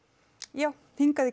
já hingað í